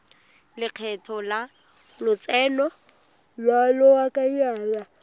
lekgetho la lotseno lwa lobakanyana